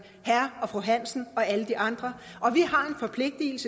herre og fru hansen og alle de andre